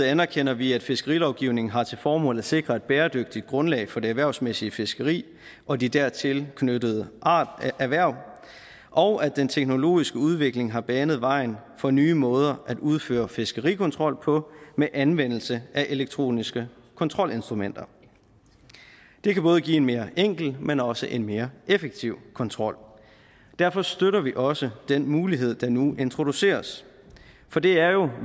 anerkender vi at fiskerilovgivningen har til formål at sikre et bæredygtigt grundlag for det erhvervsmæssige fiskeri og de dertil knyttede erhverv og at den teknologiske udvikling har banet vejen for nye måder at udføre fiskerikontrol på med anvendelse af elektroniske kontrolinstrumenter det kan både give en mere enkel men også en mere effektiv kontrol derfor støtter vi også den mulighed der nu introduceres for det er jo